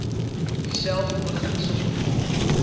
dieselfde beginsel bekom